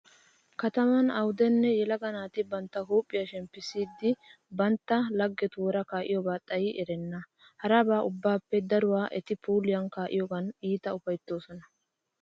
Kataman awudenne yelaga naati bantta huuphiya shemppissiiddi bantta laggetuura kaa'iyobi xayi erenna. Haraba ubbaappeekka daruwa eti puuliya kaa'iyogan iita ufayttoosona.